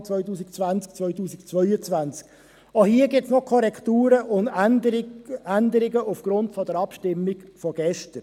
Auch hier gibt es noch Korrekturen und Änderungen aufgrund der Abstimmung von gestern.